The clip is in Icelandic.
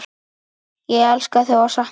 Ég elska þig og sakna.